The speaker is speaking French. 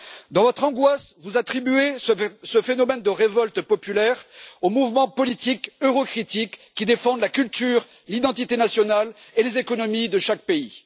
Dans votre angoisse, vous attribuez ce phénomène de révolte populaire aux mouvements politiques eurocritiques qui défendent la culture, l'identité nationale et les économies de chaque pays.